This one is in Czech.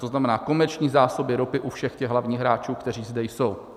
To znamená, komerční zásoby ropy u všech těch hlavních hráčů, kteří zde jsou.